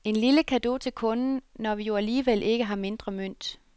En lille cadeau til kunden, når vi jo alligevel ikke har mindre mønt.